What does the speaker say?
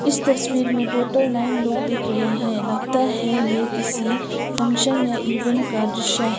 इस तस्वीर में टोटल नाइन लोग देख रहे हैं लगता है ये किसी फंक्शन या इवेंट का दृश्य है।